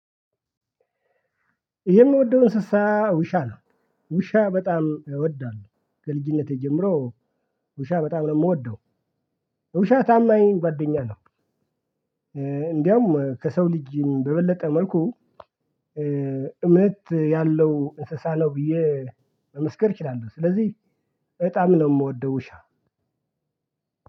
ይሄ የምወደው እንስሳ ውሻ ነው። ውሻ በጣም ይወዳለሁ ከልጅነቴ ጀምሮ። ውሻ በጣም ነው እምወደው ውሻ ታማኝ ጓደኛ ነው። እንዲያውም ከሰው ልጅም በበለጠ መልኩ። እምት ያለው እንስሳ ነው ብዬ መመስከር እችላለሁ። ስለዚህ በጣም ነው እምወደው ውሻ።